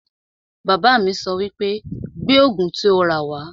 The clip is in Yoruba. Bàbá mi sọ wípé 'Gbé Ògùn tí o rà wá'